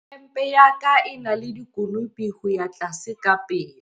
Hempe ya ka e na le dikonopo ho ya tlase ka pele.